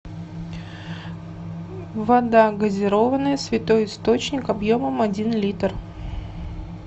вода газированная святой источник объемом один литр